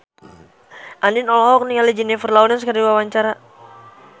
Andien olohok ningali Jennifer Lawrence keur diwawancara